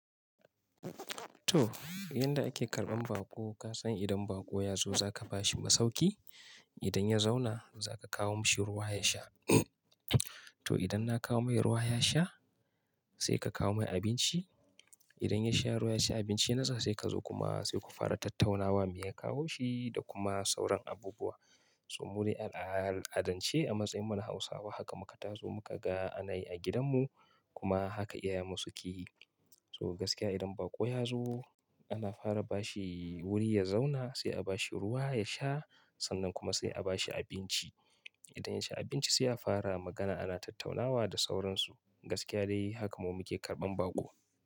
To, yanda ake karɓan baƙo, ka san idan baƙo ya zo za ka ba shi masauki. Idan ya zauna za ka kawo mashi ruwa ya sha. To idan na kawo mai ruwa ya sha sai ka kawo mai abinci. Idan ya sha ruwa, ya ci abinci nasa sai ka zo kuma sai ku fara tattaunawa me ya kawo shi da kuma sauran abubuwa. So mu dai a adalce a matsayinmu na Hausawa haka muka taso muka ga ana yi a gidan mu kuma haka iyayen mu suke yi. So gaskiya idan baƙo ya zo ana fara ba shi wuri ya zauna sai a ba shi ruwa ya sha sannan kuma sai a ba shi abinci. Idan ya ci abinci sai a fara magana ana tattaunawa da sauransu. Gaskiya dai haka mu muke karɓan baƙo.